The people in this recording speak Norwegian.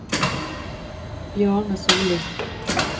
Bjarne Sollie